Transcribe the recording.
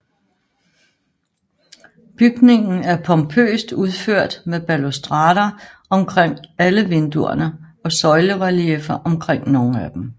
Bygningen er pompøst udført med balustrader under alle vinduerne og søjlerelieffer omkring nogle af dem